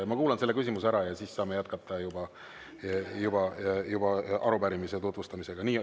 Ma kuulan selle küsimuse ära ja siis saame jätkata juba arupärimise tutvustamisega.